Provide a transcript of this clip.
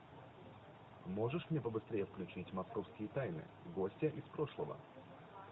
можешь мне побыстрее включить московские тайны гостья из прошлого